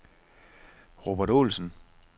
Robert Olsen